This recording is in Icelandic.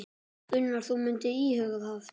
Gunnar: Þú myndir íhuga það?